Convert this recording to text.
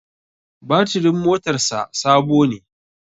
Batirin motar sa Sabo ne